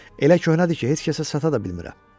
Elə köhnədir ki, heç kəsə sata da bilmirəm.